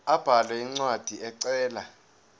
abhale incwadi ecela